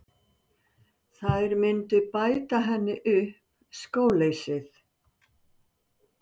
Þær myndu bæta henni upp skóleysið.